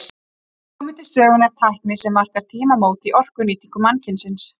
Hér hefur komið til sögunnar tækni sem markar tímamót í orkunýtingu mannkynsins.